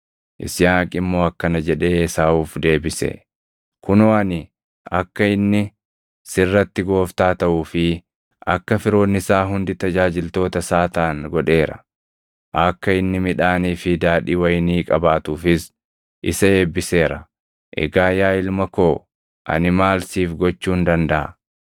Yisihaaq immoo akkana jedhee Esaawuuf deebise; “Kunoo ani akka inni sirratti gooftaa taʼuu fi akka firoonni isaa hundi tajaajiltoota isaa taʼan godheera; akka inni midhaanii fi daadhii wayinii qabaatuufis isa eebbiseera. Egaa yaa ilma koo ani maal siif gochuun dandaʼa?”